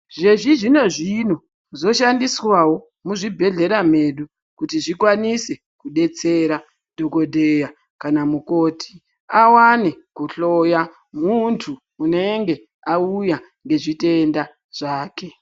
Zvechizvino zvino zvashandiswa wo muzvibhedhlera mwedu kuti zvikwanise kudetsera dhokodheya kana mukoti awane kuhloya muntu unenge auya nezvitenda zvake.